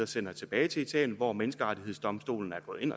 sender tilbage til italien hvor menneskerettighedsdomstolen er gået ind